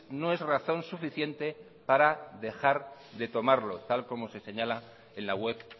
no es razón suficiente para dejar de tomarlo tal como se señala en la web